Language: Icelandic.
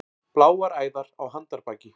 Bláar æðar á handarbaki.